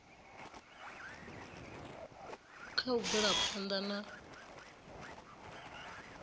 kha u bvela phanḓa na